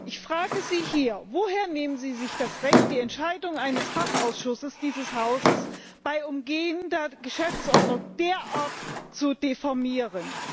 Ich frage Sie hier Woher nehmen Sie sich das Recht, die Entscheidung eines Fachausschusses dieses Hauses unter Umgehung der Geschäftsordnung derart zu diffamieren?